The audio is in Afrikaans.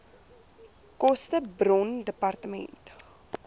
koste bron dept